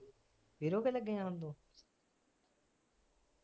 ਕੇ ਰੋਕੇ ਲਗੇ ਜਾਨ ਤੋਂ